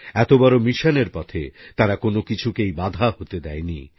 এত বড় মিশনের পথে তারা কোন কিছুকেই বাধা হতে দেয়নি